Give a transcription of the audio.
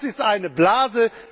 Das ist eine Blase.